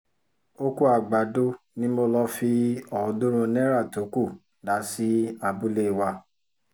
ọkọ̀ àgbàdo ni mo lọ́ọ́ fi ọ̀ọ́dúnrún náírà tó kù dá sí abúlé wa